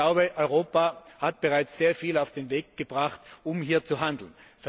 Und ich glaube, Europa hat bereits sehr viel auf den Weg gebracht, um hier zu handeln.